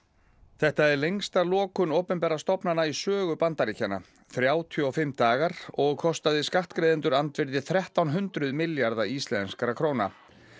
þetta er lengsta lokun opinberra stofnana í sögu Bandaríkjanna þrjátíu og fimm dagar og kostaði skattgreiðendur andvirði þrettán hundruð milljarða íslenskra króna